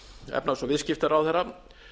efnahags og viðskiptaráðherra